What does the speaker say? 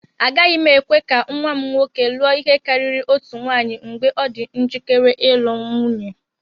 Agaghị m ekwe ka nwa m nwoke lụọ ihe karịrị otu nwunye mgbe ọ dị njikere ịlụ nwunye.